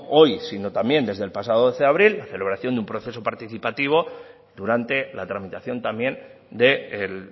hoy sino también desde el pasado doce de abril la celebración de un proceso participativo durante la tramitación también del